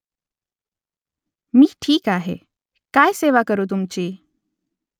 मी ठीक आहे . काय सेवा करू तुमची ?